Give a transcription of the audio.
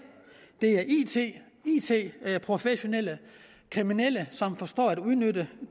det er it professionelle kriminelle som forstår at udnytte